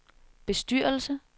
bestyrelse